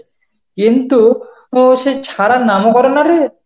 কিন্তু ও সে ছাড়ার নামও করে না রে.